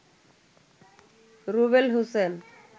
Rubel Hossain